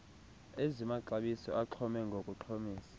ezimaxabiso axhome ngokuxhomisa